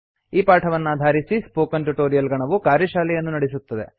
ಈ ಪಾಠವನ್ನಾಧಾರಿಸಿ spoken tutorial ಗಣವು ಕಾರ್ಯಶಾಲೆಯನ್ನು ನಡೆಸುತ್ತದೆ